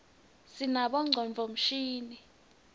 sinabonqcondvo mshini